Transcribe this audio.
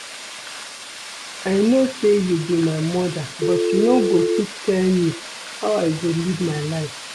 I know say you be my mother but you no go fit tell me how I go live my life